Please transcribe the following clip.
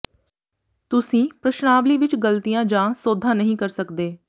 ਤੁਸੀਂ ਪ੍ਰਸ਼ਨਾਵਲੀ ਵਿਚ ਗ਼ਲਤੀਆਂ ਜਾਂ ਸੋਧਾਂ ਨਹੀਂ ਕਰ ਸਕਦੇ